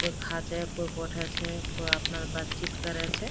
कोई खा छे कोई बोठे छे कोई आपनार बातचीत करे छे।